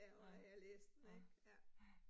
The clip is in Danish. Nej, ja, ja